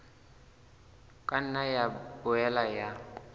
ka nna ya boela ya